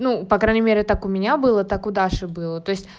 ну по крайней мере так у меня было так у даши было то есть